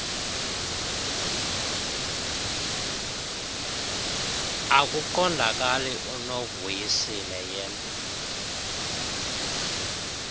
akuqondakali unovusile yen